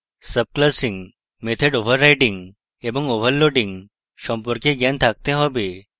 subclassing method overriding এবং overloading সম্পর্কে জ্ঞান থাকতে have